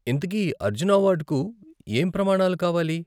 ఇంతకీ, అర్జున అవార్డుకు ఏం ప్రమాణాలు కావాలి?